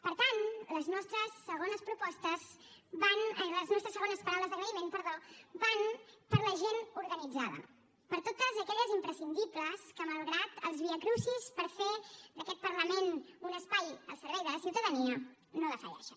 per tant les nostres segones paraules d’agraïment van per a la gent organitzada per a totes aquelles imprescindibles que malgrat els viacrucis per fer d’aquest parlament un espai al servei de la ciutadania no defalleixen